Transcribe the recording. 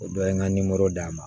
O dɔ ye n ka d'a ma